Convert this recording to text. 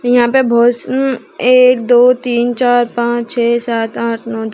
यहां पे बहुत स उं एक दो तीन चार पांच छः सात आठ नव द--